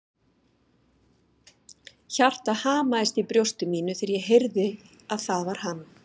Hjartað hamaðist í brjósti mínu þegar ég heyrði að það var hann.